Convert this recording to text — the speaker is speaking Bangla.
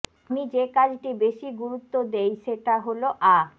আমি যে কাজটি বেশি গুরুত্ব দেই সেটা হলো আ